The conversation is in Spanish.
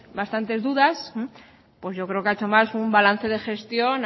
bastantes dudas pues yo creo que ha hecho más un balance de gestión